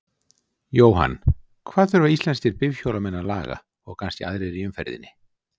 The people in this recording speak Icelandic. Jóhann: Hvað þurfa íslenskir bifhjólamenn að laga, og kannski aðrir í umferðinni?